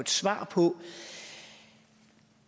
svar på